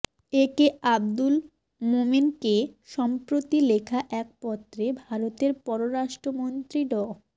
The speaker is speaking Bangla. এ কে আবদুল মোমেনকে সম্প্রতি লেখা এক পত্রে ভারতের পররাষ্ট্রমন্ত্রী ড